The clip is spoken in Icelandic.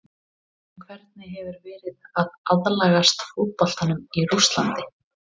En hvernig hefur verið að aðlagast fótboltanum í Rússlandi?